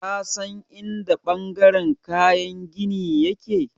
Ka san in da ɓangaren kayan gini ya ke?